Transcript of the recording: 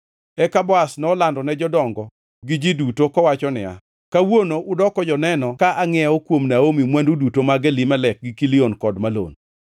Eka Boaz nolando ne jodongo gi ji duto kowacho niya, “Kawuono udoko joneno ka angʼiewo kuom Naomi mwandu duto mag Elimelek gi Kilion kod Malon.